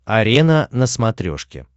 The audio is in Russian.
арена на смотрешке